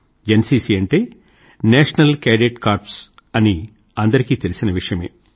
NCC అంటే national cadet corps అని అందరికీ తెలుసిన విషయమే